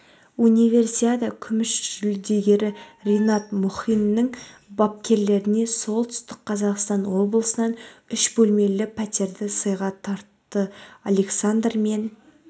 универсиада күміс жүлдегері ринат мұхиннің бапкерлерлеріне солтүстік қазақстан облысынан үш бөлмелі пәтерді сыйға тартты александр мен